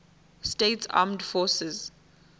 states armed forces